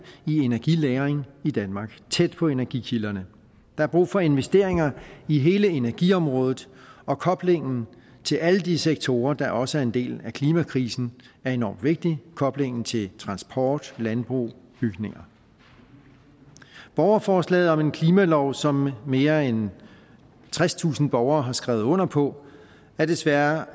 i energilagring i danmark tæt på energikilderne der er brug for investeringer i hele energiområdet og koblingen til alle de sektorer der også er en del af klimakrisen er enormt vigtig det koblingen til transport landbrug og bygninger borgerforslaget om en klimalov som mere end tredstusind borgere har skrevet under på er desværre